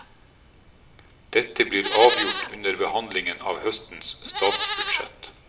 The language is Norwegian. Dette blir avgjort under behandlingen av høstens statsbudsjett.